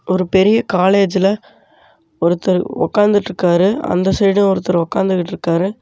ஒரு பெரிய காலேஜ்ல ஒருத்தர் உக்காந்துட்டுருக்காரு அந்த சைடு ஒருத்தர் உக்காந்துகிட்டிருக்காரு.